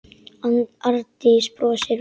Arndís brosir veikt.